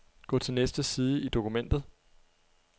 Gå til næste side i dokumentet.